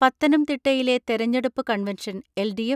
പത്തനംതിട്ടയിലെ തെരഞ്ഞെടുപ്പ് കൺവെൻഷൻ എൽ.ഡി.എഫ്.